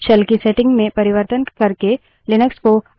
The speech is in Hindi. shell की settings में परिवर्तन करके लिनक्स को अधिक अनुकूलित कर सकते है